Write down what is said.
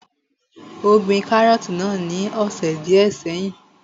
Ó gbin kárọ̀tì náà ní ọ̀sẹ̀ díẹ́ sẹ́yìn.